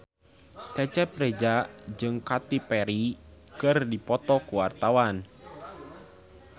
Cecep Reza jeung Katy Perry keur dipoto ku wartawan